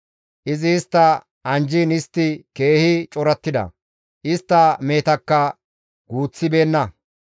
Izi istta anjjiin istti keehi corattida; istta mehetakka guuththibeenna.